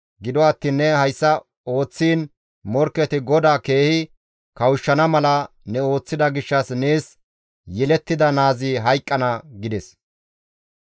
Gido attiin ne hayssa ooththiin morkketi GODAA keehi kawushshana mala ne ooththida gishshas nees yelettida naazi hayqqana» gides.